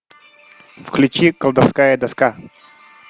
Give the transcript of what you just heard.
включи колдовская доска